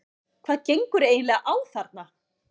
HVAÐ GENGUR EIGINLEGA Á ÞARNA?